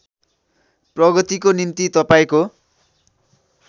प्रगतिको निम्ति तपाईँको